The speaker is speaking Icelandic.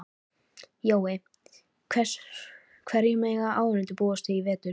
Jói, hverju mega áhorfendur búast við í vetur?